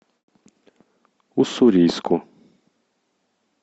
уссурийску